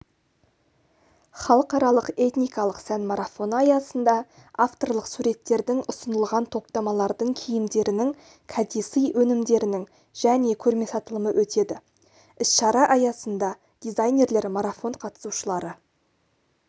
халықаралық этникалық сән марафоны аясында авторлық суреттердің ұсынылған топтамалардың киімдерінің кәдесый өнімдерінің және көрме-сатылымы өтеді іс-шара аясында дизайнерлер марафон қатысушылары